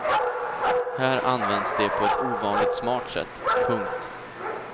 Här används det på ett ovanligt smart sätt. punkt